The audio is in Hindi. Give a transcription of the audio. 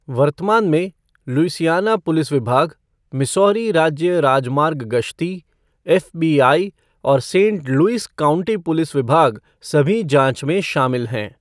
वर्तमान में, लुइसियाना पुलिस विभाग, मिसौरी राज्य राजमार्ग गश्ती, एफ़बीआई, और सेंट लुइस काउंटी पुलिस विभाग, सभी जांच में शामिल हैं।